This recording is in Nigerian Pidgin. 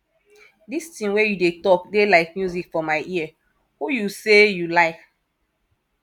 dis thing wey you dey talk dey like music for my ear who you say you like